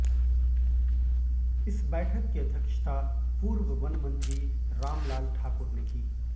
इस बैठक की अध्यक्षता पूर्व वन मंत्री रामलाल ठाकुर ने की